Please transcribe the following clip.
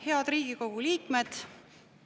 Head Riigikogu liikmed!